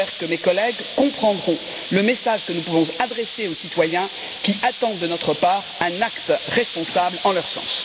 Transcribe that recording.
J'espère que mes collègues comprendront le message que nous pouvons adresser aux citoyens, qui attendent de notre part un acte responsable dans leur sens.